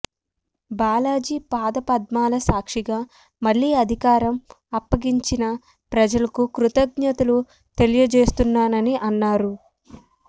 బాలాజీ పాదపద్మాల సాక్షిగా మళ్లీ అధికారం అప్పగించిన ప్రజలకు కృతజ్ఞతలు తెలియజేస్తున్నానని అన్నారు